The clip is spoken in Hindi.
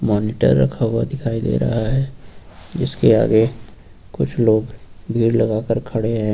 मॉनिटर रखा हुआ दिखाई दे रहा है इसके आगे कुछ लोग भीड़ लगा कर खड़े हैं।